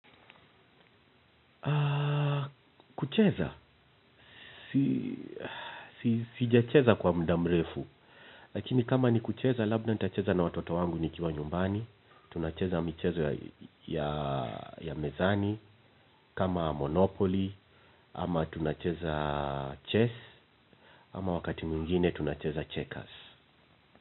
Kucheza sijacheza kwa muda mrefu. Lakini kama ni kucheza, labda nitacheza na watoto wangu ni kiwa nyumbani. Tunacheza michezo ya mezani, kama Monopoly, ama tunacheza chess, ama wakati mwingine tunacheza checkers.